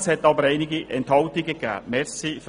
Es gab aber einige Enthaltungen. .